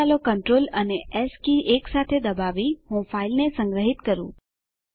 હવે ચાલો કન્ટ્રોલ અને એસ કી એકસાથે દબાવી હું ફાઈલને સંગ્રહીત કરું